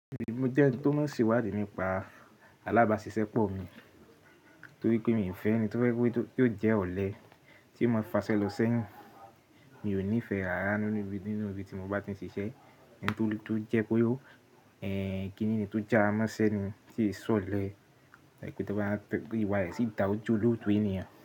Èmi jẹ́ ẹni tó mọ̀ n se iwadi nípa alábàáṣiṣẹ́ pọ̀ mi torí pé mi ò fẹ́ ẹni tó fẹ́ tí ó jẹ́ ọ̀lẹ tí ó máa faṣẹ lọ sẹ́yìn. Mi ò nífẹ̀ẹ́ ara nínú ibi tí mo bá ti ń ṣiṣẹ́, kí ènìyàn tó já ọ mọ́ ṣẹ́yìn sì sọ ọ̀lẹ wáyé sì dá ojúlójú ènìyàn.